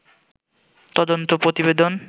তদন্ত প্রতিবেদন